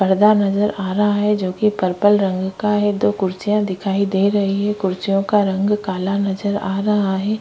पर्दा नज़र आ रहा है जोकि पर्पल रंग का है दो कुर्सियाँ दिखाई दे रही है कुर्सियों का रंग काला नज़र आ रहा हैं ।